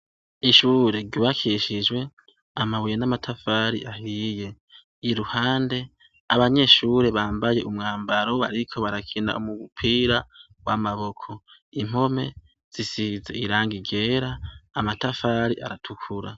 Ishure ryubakishijwe amabuye n'amatafari ahiye. Iruhande, abanyeshure bambaye umwambaro bariko barakina umupira w'amaboko. Impome zisize irangi ryera, amatafari aratukura.